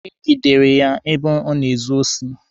E gidere ya ebe ọ na-ezu osi.